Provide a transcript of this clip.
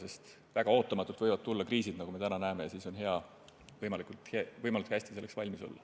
Kriisid võivad tulla väga ootamatult, nagu me näeme, ja on hea selleks võimalikult hästi valmis olla.